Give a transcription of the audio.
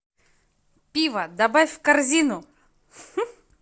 пиво добавь в корзину